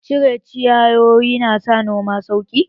Cire ciyawowi na sa noma sauƙi